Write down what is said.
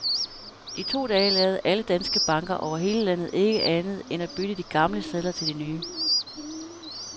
I to dage lavede alle danske banker over hele landet ikke andet end at bytte de gamle sedler til de nye.